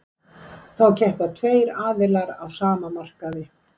þá keppa tveir aðilar á sama markaði